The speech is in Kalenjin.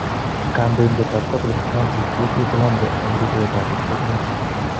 Kandoindet ab catholic Francis koitu Colombia en ruutoet ab betusiek muut.